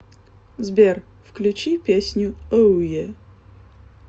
сбер включи песню оуе